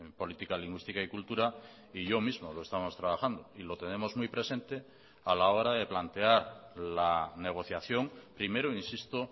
política lingüística y cultura y yo mismo lo estamos trabajando y lo tenemos muy presente a la hora de plantear la negociación primero insisto